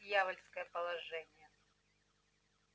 вот дьявольское положение